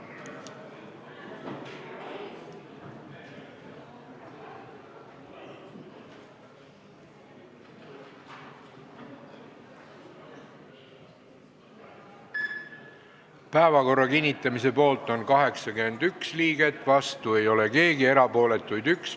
Hääletustulemused Päevakorra kinnitamise poolt on 81 liiget, vastu ei ole keegi, erapooletuid on 1.